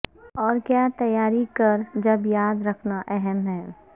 اور کیا تیاری کر جب یاد رکھنا اہم ہے